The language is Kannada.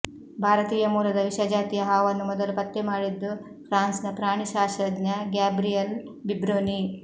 ಭಾರತೀಯ ಮೂಲದ ವಿಷಜಾತಿಯ ಹಾವನ್ನು ಮೊದಲು ಪತ್ತೆ ಮಾಡಿದ್ದು ಫ್ರಾನ್ಸ್ನ ಪ್ರಾಣಿಶಾಸ್ತ್ರಜ್ಞ ಗ್ಯಾಬ್ರಿಯಲ್ ಬಿಬ್ರೊನಿ